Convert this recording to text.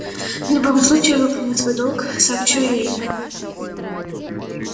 в любом случае я выполню свой долг сообщу её имя